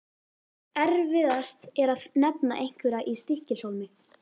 Erfiðast er að nefna einhverja í Stykkishólmi.